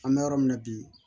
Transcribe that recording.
An bɛ yɔrɔ min na bi